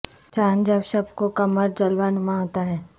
چاند جب شب کو قمر جلوہ نما ہوتا ہے